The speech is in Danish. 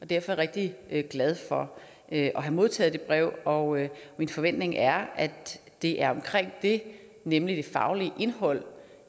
derfor rigtig glad for at have modtaget det brev og min forventning er at det er omkring det nemlig det faglige indhold